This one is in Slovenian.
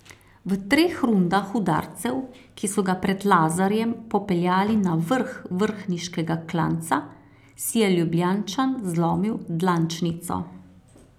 V treh rundah udarcev, ki so ga pred Lazarjem popeljali na vrh vrhniškega klanca, si je Ljubljančan zlomil dlančnico.